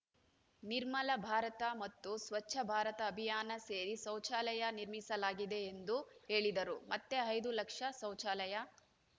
ನಿರ್ಮಲ ಭಾರತ ಮತ್ತು ಸ್ವಚ್ಛ ಭಾರತ ಅಭಿಯಾನ ಸೇರಿ ಶೌಚಾಲಯ ನಿರ್ಮಿಸಲಾಗಿದೆ ಎಂದು ಹೇಳಿದರು ಮತ್ತೆ ಐದು ಲಕ್ಷ ಶೌಚಾಲಯ